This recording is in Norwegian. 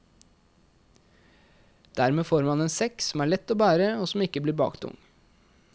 Dermed får man en sekk som er lett og bære og som ikke blir baktung.